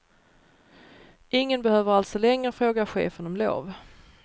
Ingen behöver alltså längre fråga chefen om lov.